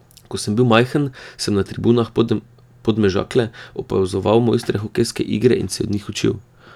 Ko sem bil majhen, sem na tribunah Podmežakle opazoval mojstre hokejske igre in se od njih učil.